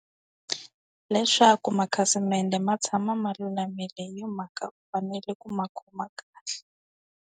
Leswaku makhasimende ma tshama ma lulamile hi yoho mhaka u fanele ku ma khoma kahle.